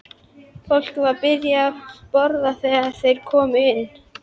Fólkið var byrjað að borða þegar þeir komu inn.